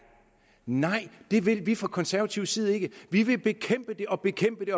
nej det vil vi ikke fra konservativ side vi vil bekæmpe det og bekæmpe det